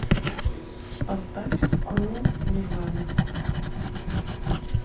поставь скул нирвана